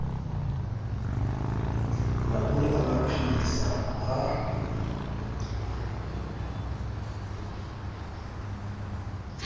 maburu a ba phedisa ha